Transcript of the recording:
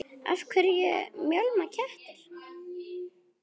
Af hverju mjálma kettir?